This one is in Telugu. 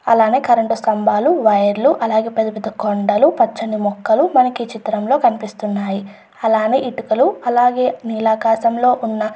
అలానే కరెంటు స్తంభాలు వైర్లు పెద్ద పెద్ద కొండలు పచ్చని చెట్లు మనకి చిత్రంలో కనిపిస్తున్నది.అలాగే ఇటుకలు నీలాకాశంలో ఉన్న--